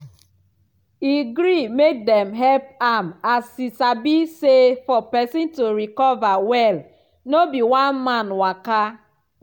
e gree make dem help am as e sabi say for pesin to recover well no be one man waka.